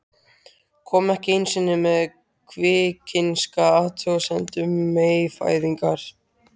Kom ekki einu sinni með kvikinska athugasemd um meyfæðingar.